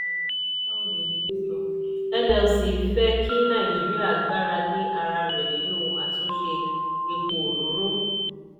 nlc fẹ́ kí naijirịa gbára lé ara rẹ̀ nínú àtúnṣe epo òróró.